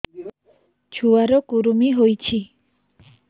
ଛୁଆ ର କୁରୁମି ହୋଇଛି